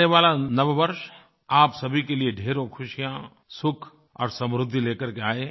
आने वाला नव वर्ष आप सभी के लिए ढ़ेरों खुशियाँ सुख और समृद्धि ले करके आए